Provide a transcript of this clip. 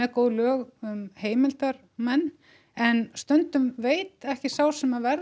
góð lög um heimildarmenn en stundum veit ekki sá sem að verður